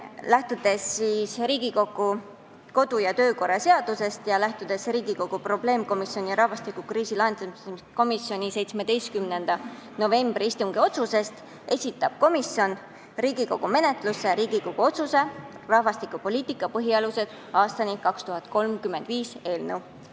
Lähtudes Riigikogu kodu- ja töökorra seadusest ja Riigikogu probleemkomisjoni rahvastikukriisi lahendamiseks 17. novembri istungi otsusest esitab komisjon Riigikogu menetlusse Riigikogu otsuse "Rahvastikupoliitika põhialused aastani 2035" eelnõu.